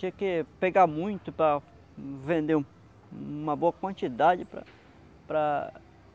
Tinha que pegar muito para vender um uma boa quantidade para para